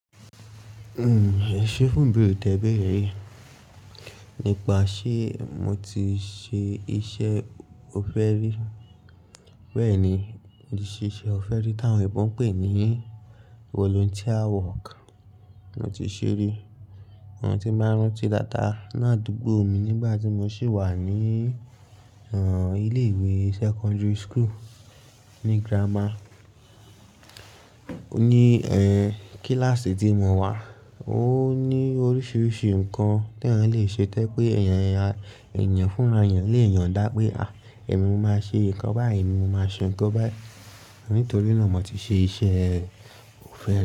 Èṣe funbí tiẹ́ bèrè yìí nípa ṣé mo ti ṣe iṣẹ́ ọ̀fẹ́ rí, bẹ́ẹ̀ ni iṣẹ́ ọ̀fẹ́ rí táwọn èèbó ń pè ní volunteer work mo ti ṣe rí. Tí n bá rántí dáadáa ni àdúgbò mi nígbà tí mo ṣì wà ní ilé ìwé secondary school ní grammar. Ní kíláàsì tí mo wà, ó ní oríṣiríṣi nǹkan tí tẹ́yàn lè ṣe tó jẹ́ pé èèyàn fúnra èèyàn lè yàn dá pé, à! Mo máa ṣe nǹkan báyìí, èmi máa ṣe nǹkan báyìí. Nítorí náà mo ti ṣe iṣẹ́ ọ̀fẹ́ rí.